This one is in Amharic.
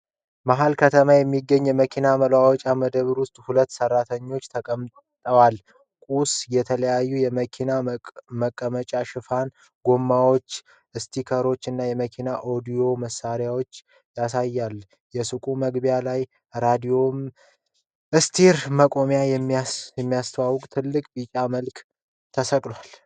መሀል ከተማ በሚገኝ የመኪና መለዋወጫ መደብር ውስጥ ሁለት ሰራተኞች ተቀምጠዋል። ሱቁ የተለያየ የመኪና መቀመጫ ሽፋኖች፣ ጎማዎች፣ ስቲከሮች እና የመኪና ኦዲዮ መሣሪያዎችን ያሳያል። የሱቁ መግቢያ ላይ ራዲየም ስቲከር መቁረጥን የሚያስተዋውቅ ትልቅ ቢጫ ምልክት ተሰቅሏል።